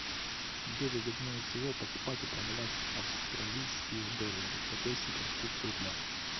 где выгоднее всего покупать и продавать австралийские доллары какой сейчас курс рубля